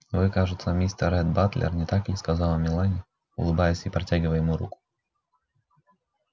вы кажется мистер ретт батлер не так ли сказала мелани улыбаясь и протягивая ему руку